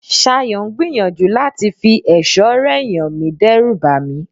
Ṣayọ̀ ń gbìyànjú láti fi ẹ̀ṣọ́ rẹ̀ yàn mí dẹ́rùbà mí.